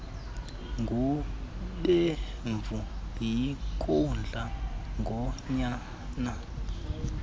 gubevu yinkohla ngonyana